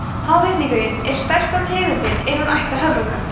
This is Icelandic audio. háhyrningurinn er stærsta tegundin innan ættar höfrunga